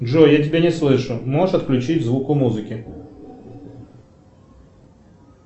джой я тебя не слышу можешь отключить звук у музыки